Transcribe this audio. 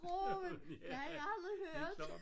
Grøften det havde han aldrig hørt